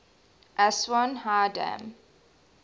aswan high dam